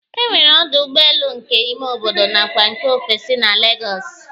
E nwere ọdụ ụgbọelu nke ime obodo nakwa nke ofesi na Legọọsị